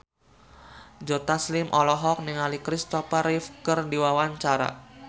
Joe Taslim olohok ningali Christopher Reeve keur diwawancara